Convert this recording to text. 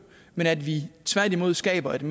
men at vi tværtimod skaber en